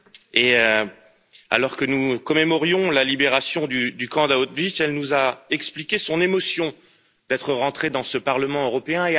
Et alors que nous commémorions la libération du camp d'Auschwitz, elle nous a expliqué son émotion d'être entrée dans ce Parlement européen.